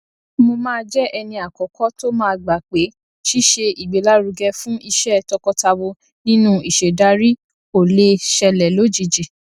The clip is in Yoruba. àkáǹtì ìsanwójáde ìsanwówọlé àkáǹtì ìsanwójáde ìsanwówọlé ìsanwówọlé àkáǹtì gbèsè ẹẹdẹgbẹta